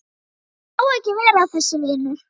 Ég má ekki vera að þessu, vinur.